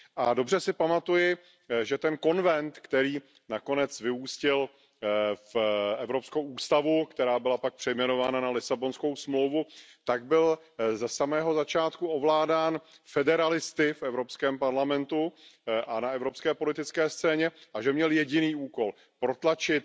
A dobře si pamatuji, že ten konvent, který nakonec vyústil v evropskou ústavu, která byla pak přejmenovaná na Lisabonskou smlouvu, byl ze samého začátku ovládán federalisty v Evropském parlamentu a na evropské politické scéně a měl jediný úkol protlačit